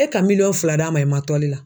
E ka miliyɔn fila d'a ma i ma la.